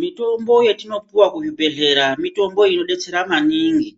Mitombo yetinopuwa kuzvibhedhlea, mitombo inodetsera maningi.